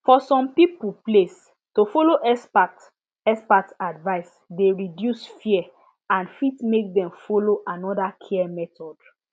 for some people place to follow expert expert advice dey reduce fear and fit make dem follow another care method